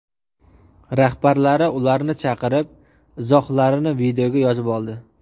Rahbarlari ularni chaqirib, izohlarini videoga yozib oldi.